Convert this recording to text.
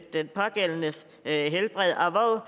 den pågældendes helbred